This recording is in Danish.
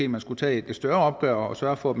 man skulle tage et større opgør og sørge for at